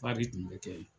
tun bɛ kɛ ye